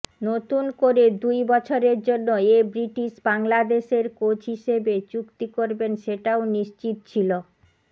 নতুন করে দুই বছরের জন্য এ ব্রিটিশ বাংলাদেশের কোচ হিসেবে চুক্তি করবেন সেটাও নিশ্চিত ছিল